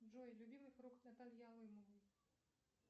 джой любимый фрукт натальи алымовой